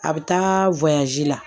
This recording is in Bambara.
A bɛ taa la